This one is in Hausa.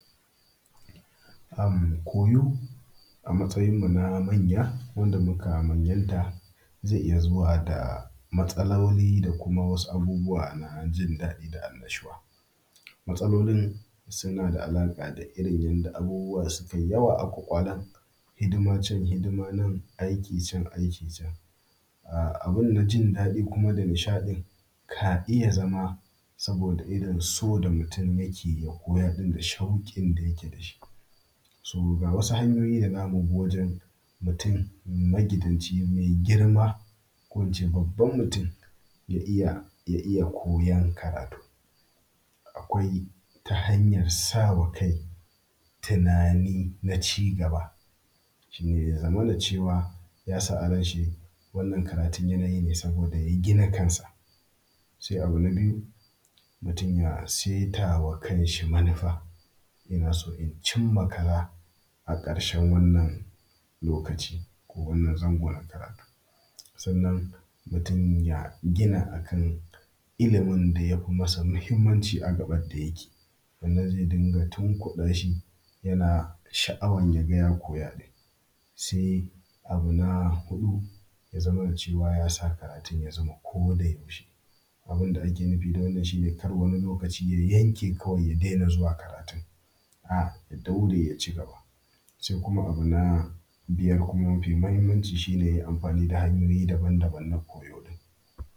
Am koyo a matsayinmu na manya, wanda muka manyanta Zai iya zuwa da Zai iya zuwa da matsaloli dakuma wasu abubuwa, na jindadi da annashuwa. Matsalolin suna da alaƙa da rin yanda abubuwa sukai yawa aku anan hidima cen hidima nan, aiki can aiki can. A abun na jindaɗi kuma da nishadin,, ka iya zama saboda irin so da mutum yake, ya koya din da shaukin da yake dashi. So gawasu hanyoyin dazubi wajen, mutum magidanci mai girma ko ince babban mutum ya iya ya iya koyan karatu. Akwai ta hanyar sawa kai tunani na cigaba. Shine yazamana cewa, yasa a ranshi wannan karatun yanayine saboda ya gina kansa. Se abu na biyu mutum ya setama kanshi manufa, inaso incinma kaza aƙarshen wannan lokaci. Ko wannan zango na karatu. Sannan mutum ya gina akan ilimin dayafi masa muhimmanci, agaɓa dayake. Wannan ze dinga tunkuɗashi yana sha’awan yaga ya koya din. Se abu na huɗu, yazamana cewa yasa karatun yazama koda yaushe. Abunda ake nufi da wanna shine kar wani lokaci, ya yanke kawai ya dena zuwa karatun. aa ya daure yacigaba. Se kuma abu na biyar kuma mafi muhimmanci shine, yai amfani da hanyoyi daban daban na koyo ɗin.